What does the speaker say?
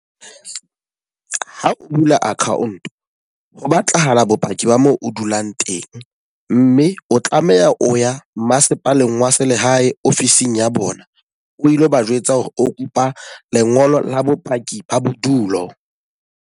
Ha o bula account, ho batlahala bopaki ba mo o dulang teng. Mme o tlameha o ya masepaleng wa selehae office-ng ya bona. O ilo ba jwetsa hore o kopa lengolo la bopaki ba bodulo.